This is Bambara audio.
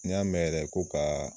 N y'a mɛn yɛrɛ ko ka